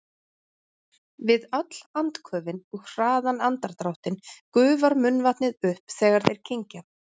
Við öll andköfin og hraðan andardráttinn gufar munnvatnið upp þegar þeir kyngja.